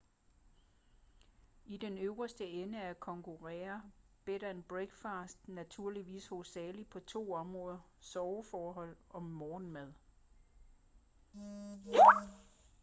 i den øverste ende konkurrerer bed & breakfasts naturligvis hovedsageligt på to områder soveforhold og morgenmad